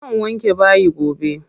Zan wanke bayi gobe.